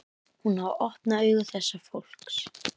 Hún á að opna augu þessa fólks.